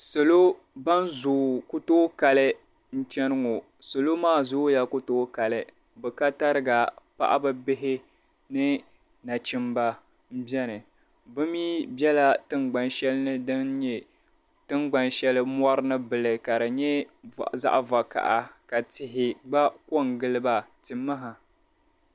Salo ban zoo ku tooi kali n-chani ŋo salo maa zooya ku tooi kali bɛ ka tariga paɣaba bihi ni nachimba m-beni bɛ mi bela tingban'shɛli din nye tingban'shɛli mɔri ni gili nye zaɣ'vakaha ka tihi gba ko n-gili ba timaha.